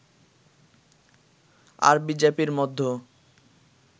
আর বিজেপির মধ্য